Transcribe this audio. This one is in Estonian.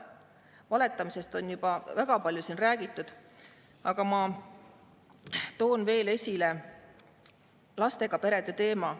Valetamisest on juba väga palju siin räägitud, aga ma toon veel esile lastega perede teema.